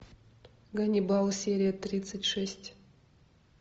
ганнибал серия тридцать шесть